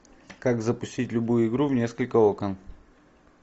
как запустить любую игру в несколько окон